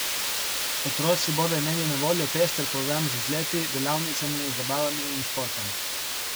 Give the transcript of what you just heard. Otroci bodo imeli na voljo pester program z izleti, delavnicami, zabavami in športom.